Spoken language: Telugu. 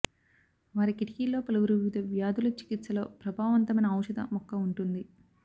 వారి కిటికీల్లో పలువురు వివిధ వ్యాధుల చికిత్సలో ప్రభావవంతమైన ఔషధ మొక్క ఉంటుంది